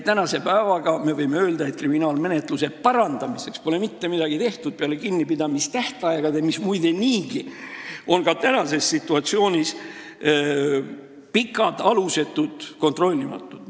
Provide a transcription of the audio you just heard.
Tänasel päeval me võime öelda, et kriminaalmenetluse parandamiseks pole mitte midagi tehtud peale kinnipidamistähtaegade muutmise, mis ikkagi ka praegu on pikad, alusetud ja kontrollimatud.